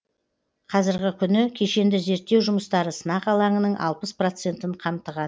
қазіргі күні кешенді зерттеу жұмыстары сынақ алаңының алпыс процентін қамтыған